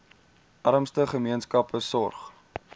armste gemeenskappe sorg